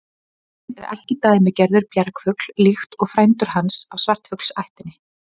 Lundinn er ekki dæmigerður bjargfugl líkt og frændur hans af svartfuglaættinni.